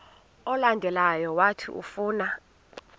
olandelayo owathi ufuna